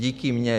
Díky mně.